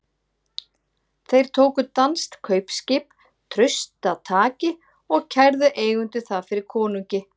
Þeir tóku danskt kaupskip traustataki og kærðu eigendur það fyrir konungi.